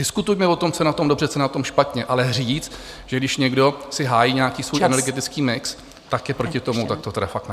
Diskutujme o tom, co je na tom dobře, co je na tom špatně, ale říct, že když někdo si hájí nějaký svůj energetický mix , tak je proti tomu, tak to teda fakt ne.